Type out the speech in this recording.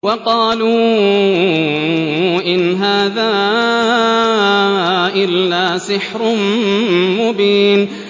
وَقَالُوا إِنْ هَٰذَا إِلَّا سِحْرٌ مُّبِينٌ